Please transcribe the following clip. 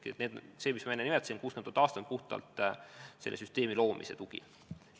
60 000 eurot aastas on puhtalt selle süsteemi loomise tugi.